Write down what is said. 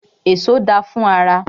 Èso da fún ara.